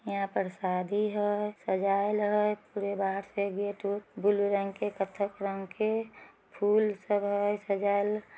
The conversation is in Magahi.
यहा पर शादी है सजाएला है पुरे बाहर से गेट बलू रंग के कत्थई रंग के फूल से वह सजायेल ।